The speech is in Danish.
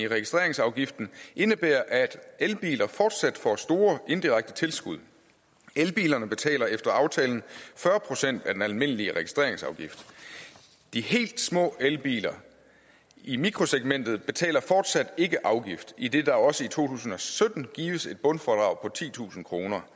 registreringsafgiften indebærer at elbiler fortsat får store indirekte tilskud elbilerne betaler efter aftalen fyrre procent af den almindelige registreringsafgift de helt små elbiler i mikrosegmentet betaler fortsat ikke afgift idet der også i to tusind og sytten gives et bundfradrag på titusind kroner